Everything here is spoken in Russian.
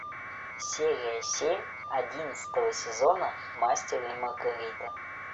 серия семь одиннадцатого сезона мастер и маргарита